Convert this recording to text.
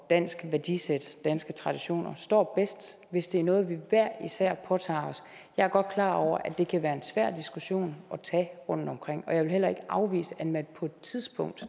dansk værdisæt og danske traditioner står bedst hvis det er noget vi hver især påtager os jeg er godt klar over at det kan være en svær diskussion at tage rundtomkring og jeg vil heller ikke afvise at man på et tidspunkt